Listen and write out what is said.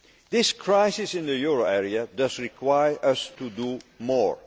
This crisis in the euro area does require us to do more.